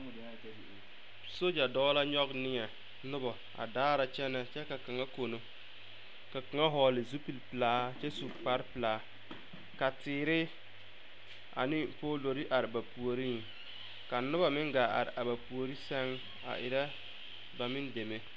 Sogya dɔɔ la nyɔge neɛ noba a daara kyɛnɛ kyɛ ka kaŋa kono ka kaŋa vɔgle zupil pelaa a kyɛ su kparepelaa ka teere ane poolori are ba puoriŋ ka noba meŋ gaa are a ba puori sɛŋ a erɛ ba meŋ deme.